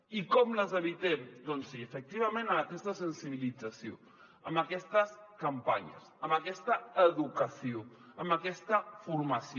i com les evitem doncs sí efectivament amb aquesta sensibilització amb aquestes campanyes amb aquesta educació amb aquesta formació